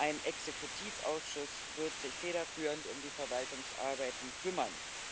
Ein Exekutivausschuss wird sich federführend um die Verwaltungsarbeiten kümmern.